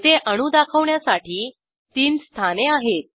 येथे अणू दाखवण्यासाठी तीन स्थाने आहेत